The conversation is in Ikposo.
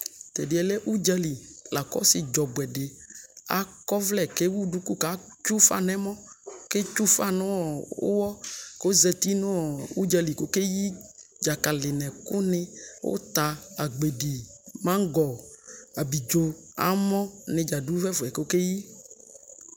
tɛdiɛ lɛ udzali la ko ɔsi dzɔ ɔboɛ di akɔ ɔvlɛ di ko ewu duku ko etsue ufa no ɛmɔ ko etsue ufa no uwɔ ko ɔzati no udzali ko okeyi dzakali no ɛkoni uta, agbedi, maŋgɔ, abidzo, amɔ ne dza do ɛfɛ ko okeyi